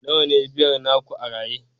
nawa ne biyar naku a raye